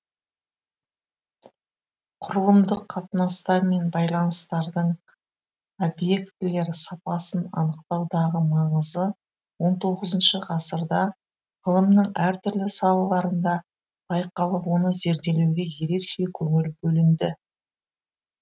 құрылымдық қатынастар мен байланыстардың объектілер сапасын анықтаудағы маңызы он тоғызыншы ғасырда ғылымның әр түрлі салаларында байқалып оны зерделеуге ерекше көңіл бөлінді